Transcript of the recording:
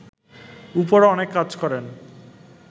উপরও অনেক কাজ করেন